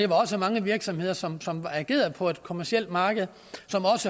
var også mange virksomheder som som agerede på et kommercielt marked